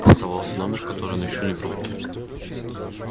оставался номер который он ещё не пробовал